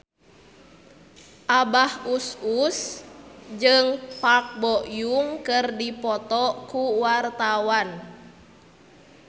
Abah Us Us jeung Park Bo Yung keur dipoto ku wartawan